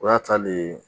O y'a ta le ye